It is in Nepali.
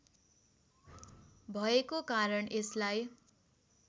भएको कारण यसलाई